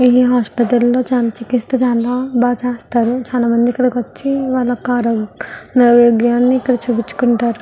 ఈ హాస్పిటల్ లోని చాలా చికిత్సలు చాలా బాగా చేస్తారు చాలామంది ఇక్కడికి వచ్చి మల్ల కావాల్సిన ఆరోగ్యాన్ని ఇక్కడ చూపించుకుంటారు.